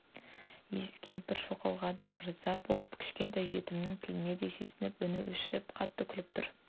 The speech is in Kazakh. иіс кемпір шоқлаға да ырза боп кішкентай жетімегінің тіліне де сүйсініп үні өшіп қатты күліп тұр